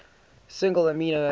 single amino acid